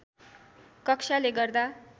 कक्षाले गर्दा